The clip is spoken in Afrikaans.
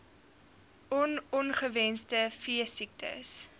on ongewenste veesiektes